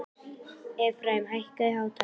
Efraím, hækkaðu í hátalaranum.